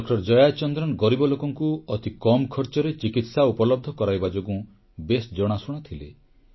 doctor Jayachandran ଗରିବ ଲୋକଙ୍କୁ ଅତିକମ୍ ଖର୍ଚ୍ଚରେ ଚିକିତ୍ସା ଉପଲବ୍ଧ କରାଇବା ଯୋଗୁଁ ବେଶ୍ ଜଣାଶୁଣା ଥିଲେ